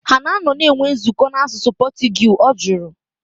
Ha anọ na-enwe nzukọ na asụsụ Portuguese? Ọ jụrụ